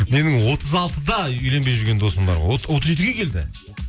менің отыз алтыда үйленбей жүрген досым бар отыз жетіге келді